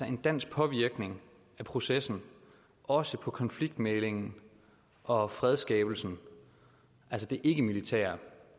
en dansk påvirkning af processen også på konfliktmæglingen og fredsskabelsen altså det ikkemilitære